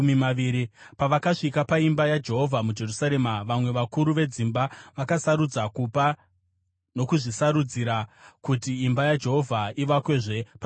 Pavakasvika paimba yaJehovha muJerusarema, vamwe vakuru vedzimba vakasarudza kupa nokuzvisarudzira kuti imba yaJehovha ivakwezve panzvimbo yayo.